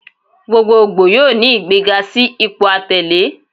Gbogboogbo yoo ni igbega si ipo atẹle